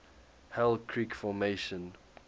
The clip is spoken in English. hell creek formation